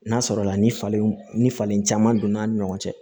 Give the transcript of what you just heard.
N'a sɔrɔ la ni falen ni falen caman donna an ni ɲɔgɔn cɛ